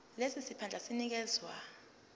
lesi siphandla sinikezwa